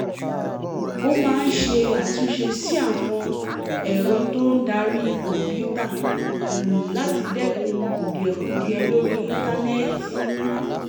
ó máa ń ṣe àtúnṣe sí àwọn ẹ̀rọ tó darí kọ̀ǹpútà láti dẹ́kun kùdìẹ̀kudiẹ lórí íńtánẹ́ẹ̀tì